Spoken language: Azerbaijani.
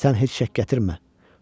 Sən heç şəkk gətirmə.